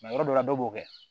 yɔrɔ dɔ la dɔ b'o kɛ